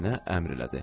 Nənə əmr elədi.